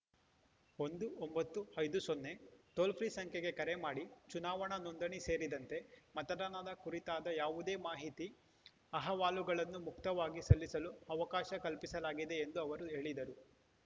ಒಂದು ಒಂಬತ್ತು ಐದು ಸೊನ್ನೆ ಟೋಲ್‌ ಫ್ರೀ ಸಂಖ್ಯೆಗೆ ಕರೆ ಮಾಡಿ ಚುನಾವಣಾ ನೋಂದಣಿ ಸೇರಿದಂತೆ ಮತದಾನದ ಕುರಿತಾದ ಯಾವುದೇ ಮಾಹಿತಿ ಅಹವಾಲುಗಳನ್ನು ಮುಕ್ತವಾಗಿ ಸಲ್ಲಿಸಲು ಅವಕಾಶ ಕಲ್ಪಿಸಲಾಗಿದೆ ಎಂದು ಅವರು ಹೇಳಿದರು